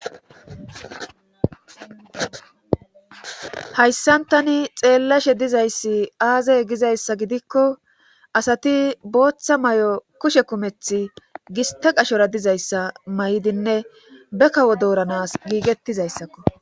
Hayssan tani xeellashe dizayssi aazay gizayssa gidikko asati booththa may7o kushe kumethi giste qashora dizayssa may7idinne be kawo dooranas giigettizayssakko.